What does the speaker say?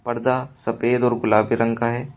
पर्दा सफेद और गुलाबी रंग का है।